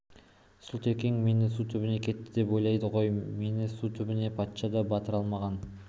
сұлтекең мені су түбіне кетті деп ойлайды ғой мені су түбіне патша да батыра алмаған